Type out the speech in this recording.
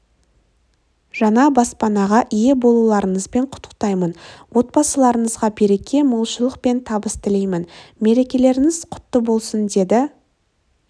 жаңа баспанаға ие болуларыңызбен құттықтаймын отбасыларыңызға береке молшылық пен табыс тілеймін мерекелеріңіз құтты болсын деді